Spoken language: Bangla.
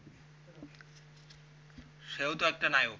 সেও তো একটা নায়ক